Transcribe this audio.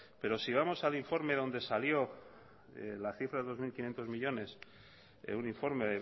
pero si vamos al informe donde salió la cifra dos mil quinientos millónes en un informe